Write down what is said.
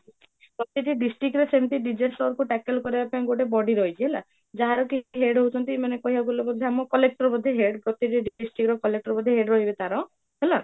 ପ୍ରତ୍ୟକ district ରେ ସେମିତି disaster କୁ tackle କରିବା ପାଇଁ ଗୋଟେ body ରହିଛି ହେଲା, ଯାହାର କି head ହାଉଛନ୍ତି ମାନେ କହିବାକୁ ଗଲେ ଅମ୍ collector ଗୋଟେ head district ର collector ବୋଧେ head ରହିବେ ତାର, ହେଲା?